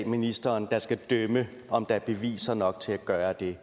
ministeren der skal dømme om der er beviser nok til at gøre det